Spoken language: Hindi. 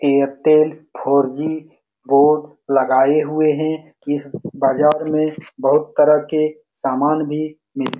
एयरटेल फोर जी बोर्ड लगाए हुए है इस बाजार में बहुत तरह के समान भी मिल --